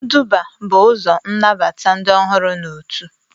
Nduba y bụ ụzọ ịnabata ndị ọhụrụ na otu